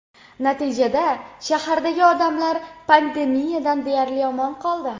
Natijada, shahardagi odamlar pandemiyadan deyarli omon qoldi.